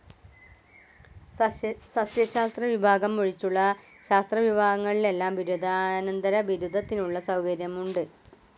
സസ്യശാസ്ത്ര വിഭാഗം ഒഴിച്ചുള്ള ശാസ്ത്ര വിഭാഗങ്ങളിലെല്ലാം ബിരുദാന്തര ബിരുദത്തിനുള്ള സൗകര്യങ്ങൾ ഉണ്ട്.